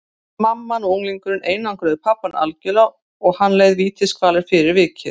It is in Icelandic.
Mamman og unglingurinn einangruðu pabbann algjörlega og hann leið vítiskvalir fyrir vikið.